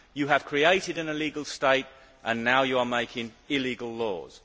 You have created an illegal state and now you are making illegal laws!